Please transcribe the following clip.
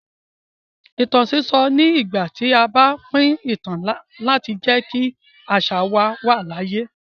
Ìtàn sísọ ni ìgbà tí a bá pín ìtàn láti jẹ́ kí àṣà wa wà láàyè.